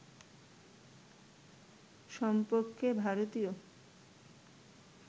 সম্পর্কে ভারতীয়